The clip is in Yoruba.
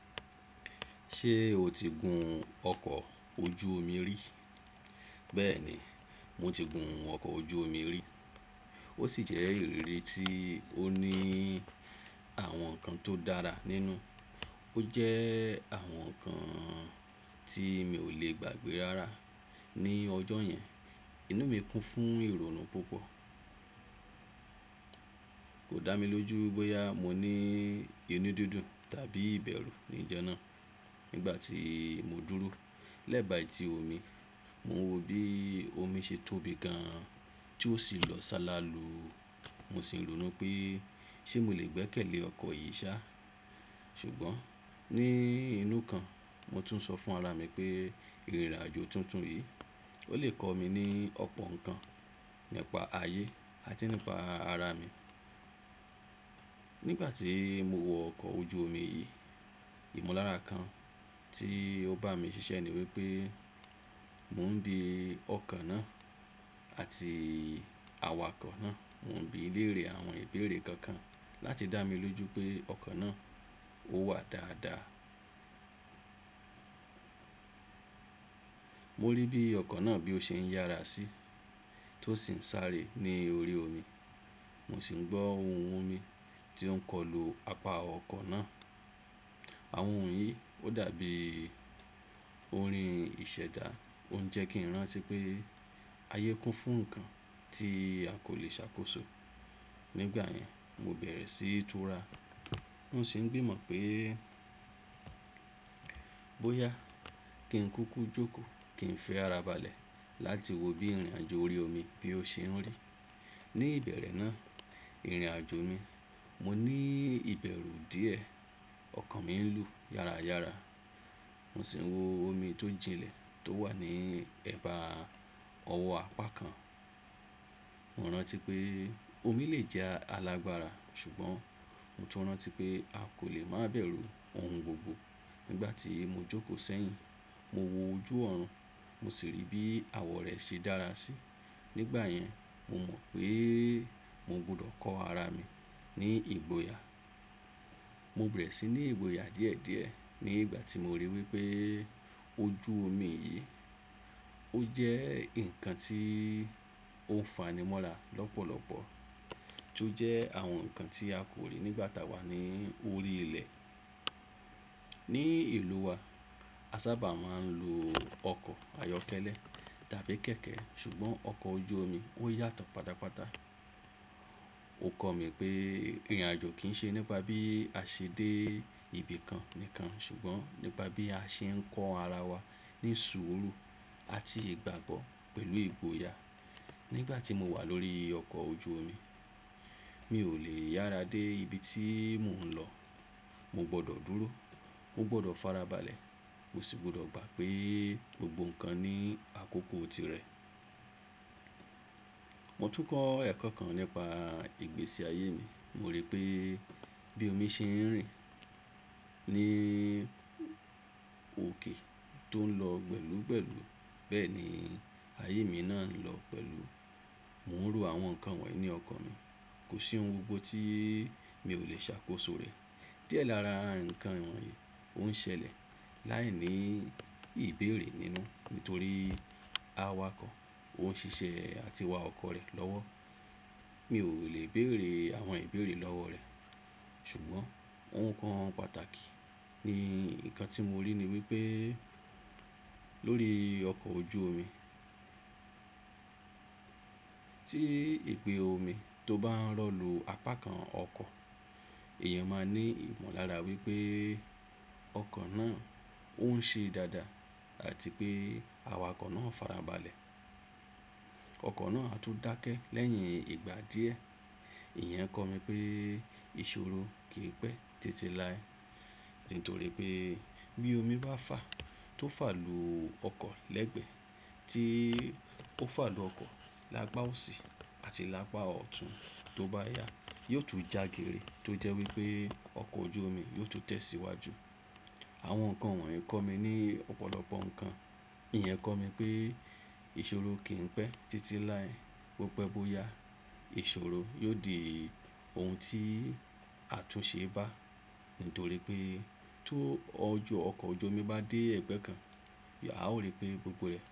Ṣé o ti gun ọkọ̀ ojú omi rí? Bẹ́ẹ̀ni, mo ti gun ọkọ̀ ojú omi rí. Ó sì jẹ́ ìrírí tí ó ní àwọn nǹkan tó dára nínú. Ó jẹ́ àwọn nǹkan tí mi ò lè gbàgbé rárá ní ọjọ́ yẹn. Inú mi kún fún ìrònú púpọ̀. Kò dá mi lójú bóyá mo ní inú dúndún tàbí ìbẹ̀rù níjọ́ náà. Nígbà tí mo dúró lẹ́bàá ẹtí omi, mo wo bí omi ṣe tóbi gan an tí ó sì ń lọ sálá lu. Mo sì ń rònú pé ṣé mo lè gbẹ́kẹ̀lé ọkọ̀ yìí ṣá. Ṣùgbọ́n ní inú kan mo tún sọ fún ara mi pé ìrìn àjò tuntun yìí ó lè kọ mi ní ọ̀pọ̀ nǹkan nípa ayé àti nípa ara mi. Nígbà tí mo wọ ọkọ̀ ojú omi yìí, ìmọ̀lára kan tí ó bá mi ṣiṣẹ́ ni wípé mò ń bi ọkọ̀ náà àti awakọ̀ náà, mò ń bi léèrè àwọn ìbéèrè kankan láti dá mi lójú pé ọkọ̀ náà ó wà dáadáa. Mo rí bí ọkọ̀ náà bí ó ṣe ń yára sí tó sì ń sáré ní orí omi. Mo sì ń gbọ́ ohùn omi tí ó ń kọlu apá ọkọ̀ náà. Àwọn ohùn yìí ó dàbí orin ìṣẹ̀dá, ó ń jẹ́ kí n rán ti pé ayé kún fún nǹkan tí a kò lè ṣàkóso. Nígbà yẹn, mo bẹ̀rẹ̀ síi tura. Mo sì ń gbìmọ̀ pé, bóyá kí n kúkú jókòó kí n fi ara balẹ̀ láti wo bí ìrìn àjò orí omi bí ó ṣe ń rí. Ní ìbẹ̀rẹ̀ náà, ìrìnàjò mi, mo ní ìbẹ̀rù díẹ̀, ọkàn mi ń lù yára yára. Mo sì ń wo omi tó jilẹ̀ tó wà ní ẹ̀bá ọwọ́ apá kan. Mo rántí pé omi lè jẹ́ alágbara ṣùgbọ́n mo tún rántí pé a kò lè má bẹ̀rù ohun gbogbo. Nígbà tí mo jókòó sẹ́yìn, mo wo ojú ọ̀run, mo sì rí bí àwọ̀ rẹ̀ ṣe dára sí. Nígbà yẹn, mo mọ̀ pé mò gbọdọ̀ kọ ara mi ní ìgboyà. Mo bẹ̀rẹ̀ sí ní ìgboyà díẹ̀díẹ̀ nígbà tí mo ríi wípé ojú omi yìí ó jẹ́ ǹkan tí ó fanimọ́ra lọ́pọ̀lọpọ̀ tí ó jẹ́ àwọn nǹkan tí a kò rí nígbà tá wà nií orí ilẹ̀. Ní ìlúu wa, a sábà máa ń lo ọkọ̀ ayọ́kẹ́lẹ́ tàbí kẹ̀kẹ́ ṣùgbọ́n ọkọ̀ ojú omi ó yàtọ̀ pátápátá. Ó kọ̀ mí pé ìrìn àjò kìí ṣe nípa bí a ṣe dé ibi kan nìkan ṣùgbọ́n nípa bí a ṣe ń kọ́ ara wa ní sùúrù àti ìgbàgbọ́ pẹ̀lú ìgboyà. Nígbà tí mo wà lórí ọkọ̀ ojú omi, mi ò lè yára dé ibi tí mò ń lọ. Mo gbọdọ̀ dúró, mo gbọdọ̀ fara balẹ̀, mo sì gbọdọ̀ gbà pé gbogbo nǹkan ní àkókò tirẹ̀. Mo tún kọ́ ẹ̀kọ́ kan nípa ìgbésí ayé ni. Mo rí pé bí omi ṣe ń rìn ní òkè tó ń lọ gbẹ́lú gbẹ́lú bẹ́ẹ̀ ni ayé mi náà ń lọ pẹ̀lú. Mo ń ro àwọn nǹkan wọ̀nyí ní ọkàn mi. Kò sí ohun gbogbo tí mi ò lè ṣàkóso rẹ̀. Díẹ̀ lára nǹkan wọ̀nyí ò ń ṣẹlẹ̀ láìní ìbéèrè nínú nítorí awakọ̀ ó ń ṣiṣẹ́ àti wa ọkọ̀ rẹ̀ lọ́wọ́. Mi ò lè béèrè àwọn ìbéèrè lọ́wọ́ rẹ̀ ṣùgbọ́n ohun kan pàtàkì ni ǹkan tí mo rí ni wípé lórí ọkọ̀ ojú omi tí ìpè omi tó bá ń rọ lu apá kan ọkọ̀, èèyàn máa ní ìmọ̀lára wípé ọkọ̀ náà ó ń ṣe dáadáa àti pé awakọ̀ náà fara balẹ̀. Ọkọ̀ náà á tún dákẹ́ lẹ́yìn ìgbà díẹ̀. Ìyẹn kọ̀ mí pé ìṣòro kìí pẹ́ títí láé nítorí pé bí omi bá fà tó fà lu ọkọ̀ lẹ́gbẹ̀ẹ́ tíi ó fà lu ọkọ̀ lápá òsì àti lápá ọ̀tún tó bá yá, yóò tún jagere tó jẹ́ wípé ọkọ̀ ojú omi yóò tún tẹ̀ síwájú. Àwọn nǹkan wọ̀nyí kọ́ mi ní ọ̀pọ̀lọpọ̀ nǹkan. Ìyẹn kọ́ mi pé ìṣòro kìí pẹ́ títí láé bó pẹ́ bóyá ìṣòro yóò di ohun tí àtúnṣe bá nítorí pé tó ọjọ́ ọkọ̀ ojú omi bá dé ẹgbẹ́ kan, a ó rí pé gbogbo rẹ̀